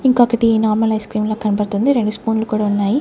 ఇంకొకటి normal ice cream లా కనపడుతుంది రెండు స్పూన్లు కూడా ఉన్నాయి.